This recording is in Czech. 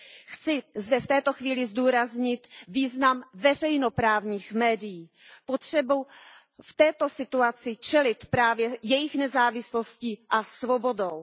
Chci zde v této chvíli zdůraznit význam veřejnoprávních médií, potřebu této situaci čelit právě jejich nezávislostí a svobodou.